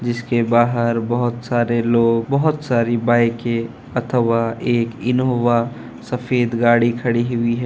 जिसके बाहर बहुत सारे लोग बहुत सारी बाइके अथवा एक एक सफेद गाड़ी खड़ी हुई है।